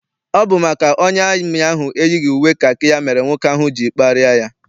Ọ bụ maka na onye amị ahụ eyighị uwe kakị ya mere nwoke ahụ ji kparịa ya.